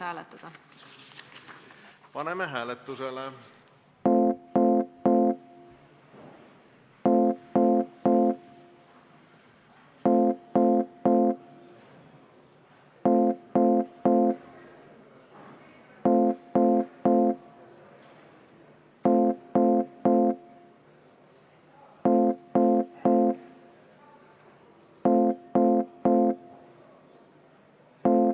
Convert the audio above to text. Aitäh!